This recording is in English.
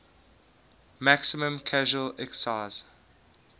maximum casual excise